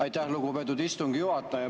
Aitäh, lugupeetud istungi juhataja!